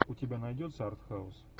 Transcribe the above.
у тебя найдется артхаус